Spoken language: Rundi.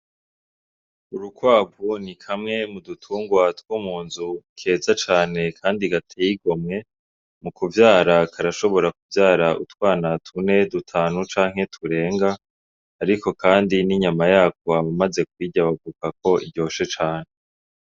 Urukwavu ni kamwe mu dutungwatwo mu nzu keza cane, kandi gatiyigo mwe mu kuvyara karashobora kuvyara utwana tune dutanu canke turenga, ariko, kandi n'inyama yako aba, maze kwirya bagukako iryoshe cane.